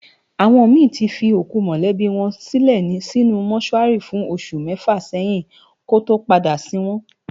Awòn mi ti fi ókú mòlèbi wòn silè sinú mòṣúári fún óṣù mèfá sèyin kòtó pádá sin wòn